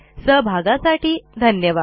सहभागासाठी धन्यवाद